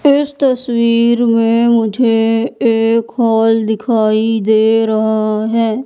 इस तस्वीर में मुझे एक हॉल दिखाई दे रहा है।